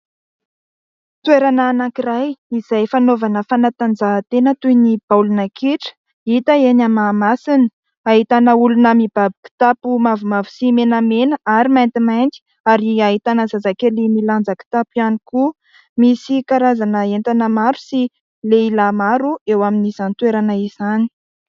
Toerana anankiray izay fanaovana fanatanjahantena toy ny baolina kitra hita eny Mahamasina. Ahitana olona mibaby kitapo mavomavo sy menamena ary maintimainty ary ahitana zazakely milanja kitapo ihany koa. Misy karazana entana maro sy lehilahy maro eo amin'izany toerana izany.